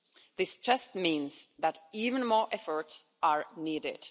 This just means that even more efforts are needed.